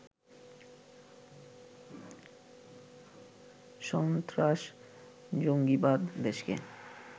সস্ত্রাস-জঙ্গিবাদ দেশকে